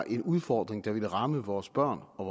en udfordring der vil ramme vores børn og